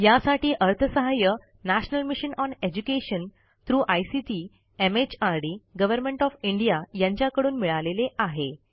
यासाठी अर्थसहाय्य national mission on education through ICT MHRD government of India यांच्याकडून मिळालेले आहे